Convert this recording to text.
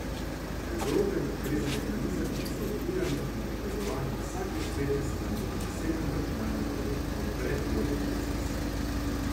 V grobem gre za mehanizem, ki za odpiranje in prikazovanje vsake spletne strani na osebnem računalniku odpre ločen proces.